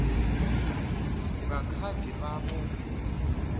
nga kha ḓi vha vho